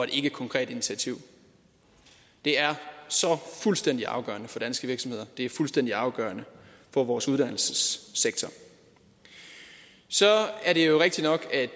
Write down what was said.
ikkekonkret initiativ det er fuldstændig afgørende for danske virksomheder det er fuldstændig afgørende for vores uddannelsessektor så er det jo rigtigt nok at